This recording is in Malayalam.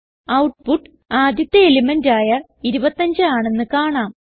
ഔട്ട്പുട്ട് ആദ്യത്തെ എലിമെന്റ് ആയ 25 ആണെന്ന് കാണാം